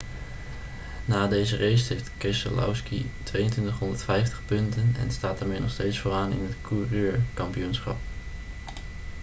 na deze race heeft keselowski 2250 punten en staat daarmee nog steeds vooraan in het coureurkampioenschap